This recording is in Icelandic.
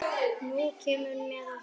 Nú kemurðu með okkur